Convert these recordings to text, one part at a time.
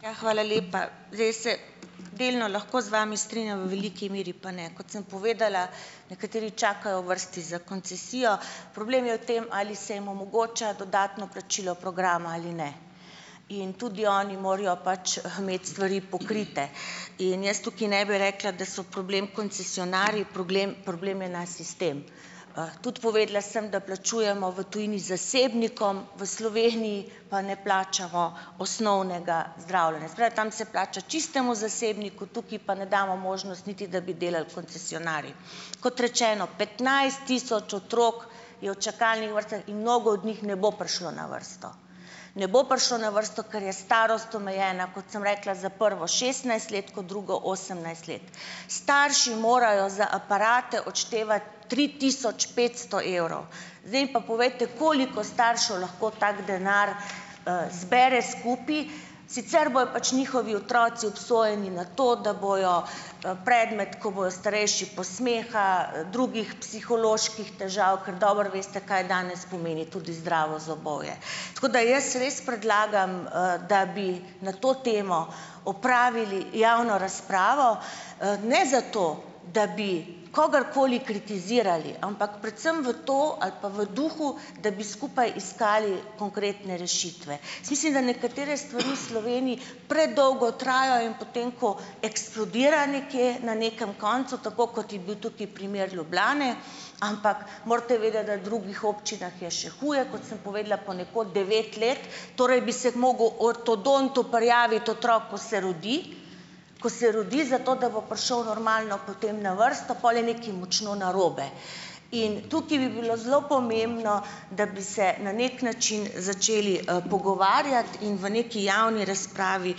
Ja, hvala lepa, zdaj se delno lahko z vami strinjam, v veliki meru pa ne. Kot sem povedala, nekateri čakajo v vrsti za koncesijo, problem je v tem ali se jim omogoča dodatno plačilo programa ali ne. In tudi oni morajo pač imeti stvari pokrite. In jaz tukaj ne bi rekla, da so problem koncesionarji, proglem problem je naš sistem. Tudi povedala sem, da plačujemo v tujini zasebnikom, v Sloveniji pa ne plačamo osnovnega zdravljenja. Se pravi, tam se plača čistemu zasebniku, tukaj pa ne damo možnost niti, da bi delali koncesionarji. Kot rečeno, petnajst tisoč otrok je v čakalnih vrstah in mnogo od njih ne bo prišlo na vrsto, ne bo prišlo na vrsto, ker je starost omejena, kot sem rekla, za prvo šestnajst let, kot drugo osemnajst let. Starši morajo za aparate odštevati tri tisoč petsto evrov. Zdaj mi pa povejte, koliko staršev lahko tak denar, zbere skupaj, sicer bojo pač njihovi otroci obsojeni na to, da bojo, predmet, ko bojo starejši, posmeha, drugih psiholoških težav, ker dobro veste, kaj danes pomeni tudi zdravo zobovje. Tako, da jaz res predlagam, da bi na to temo opravili javno razpravo, ne zato, da bi kogarkoli kritizirali, ampak predvsem v to ali pa v duhu, da bi skupaj iskali konkretne rešitve. Jaz mislim, da nekatere stvari v Sloveniji predolgo trajajo in potem, ko eksplodira nekje na nekem koncu, tako kot je bil tukaj primer Ljubljane, ampak morate vedeti, da v drugih občinah je še huje, kot sem povedala, ponekod devet let, torej bi se mogel ortodontu prijaviti otrok, ko se rodi, ko se rodi, zato da bo prišel normalno potem na vrsto, pol je nekaj močno narobe. In tukaj bi bilo zelo pomembno, da bi se na neki način začeli, pogovarjati in v nekaj javni razpravi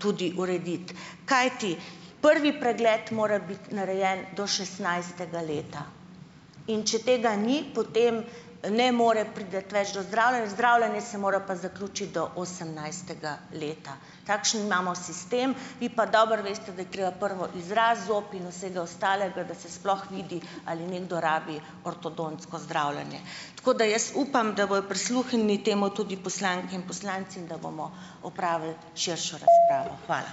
tudi urediti. Kajti prvi pregled mora biti narejen do šestnajstega leta, in če tega ni, potem ne more priti več do zdravljenj, zdravljenje se mora pa zaključiti do osemnajstega leta. Takšen imamo sistem, vi pa dobro veste, da je treba prvo izraz zob in vsega ostalega, da se sploh vidi, ali nekdo rabi ortodontsko zdravljenje. Tako, da jaz upam, da bojo prisluhnili temu tudi poslanke in poslanci in da bomo opravili širšo razpravo. Hvala.